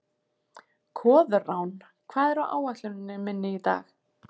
Koðrán, hvað er á áætluninni minni í dag?